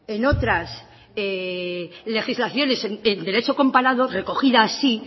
en otras legislaciones en derecho comparado recogida así